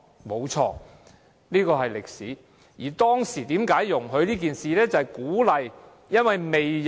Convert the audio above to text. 沒錯，這是歷史，而當時為何容許這樣做呢？